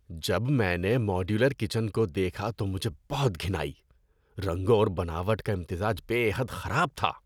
جب میں نے ماڈیولر کچن کو دیکھا تو مجھے بہت گھن آئی۔ رنگوں اور بناوٹ کا امتزاج بے حد خراب تھا۔